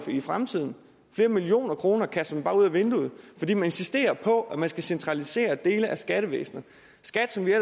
i fremtiden flere millioner kroner kaster man bare ud ad vinduet fordi man insisterer på at centralisere dele af skattevæsenet skat som vi